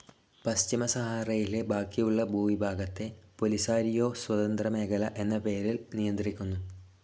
പശ്ചിമസഹാറയിലെ ബാക്കിയുള്ള ഭൂവിഭാഗത്തെ പോലിസാരിയോ സ്വതന്ത്ര മേഖല എന്ന പേരിൽ നിയന്ത്രിക്കുന്നു.